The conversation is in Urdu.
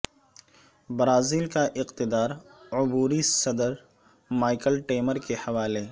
برازیل کا اقتدار عبوری صدر مائیکل ٹیمر کے حوالے